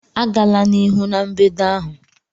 Agala n'ihu na mbedo ahụ!